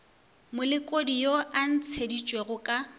molekodi yo a ntšheditšwego ka